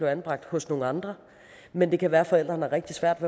anbragt hos nogle andre men det kan være at forældrene har rigtig svært